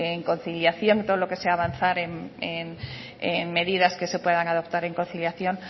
en conciliación todo lo que sea avanzar en medidas que se puedan adoptar en conciliación